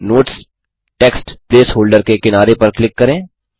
अब notes text placeholder के किनारे पर क्लिक करें